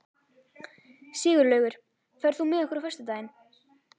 Sigurlaugur, ferð þú með okkur á föstudaginn?